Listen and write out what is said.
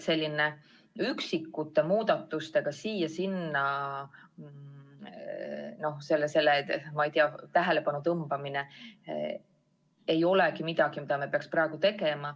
Üksikute muudatustega siia-sinna tähelepanu tõmbamine ei ole see, mida me peaksime praegu tegema.